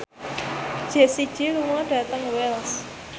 Jessie J lunga dhateng Wells